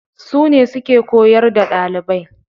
Su ne suke koyar da ɗalibai.